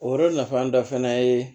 O yɔrɔ nafan dɔ fɛnɛ ye